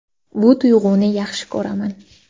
Bu tuyg‘uni yaxshi ko‘raman.